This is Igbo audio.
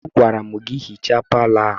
Agwara m gị hichaa palọ ahụ!